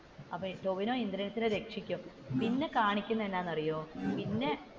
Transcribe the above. അപ്പോ ടോവിനോ ഇന്ദ്രൻസിനെ രക്ഷിക്കും പിന്നെ കാണിക്കുന്നത് എന്താണെന്ന് അറിയോ പിന്നെ,